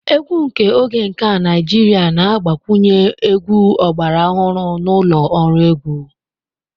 Egwu nke oge nke a Naijiria na-agbakwunye egwu ọgbara ọhụrụ na ụlọ ọrụ egwu.